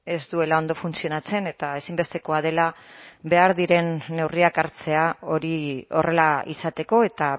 ez duela ondo funtzionatzen eta ezinbestekoa dela behar diren neurriak hartzea hori horrela izateko eta